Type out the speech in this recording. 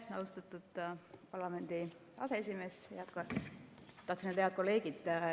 Aitäh, austatud parlamendi aseesimees!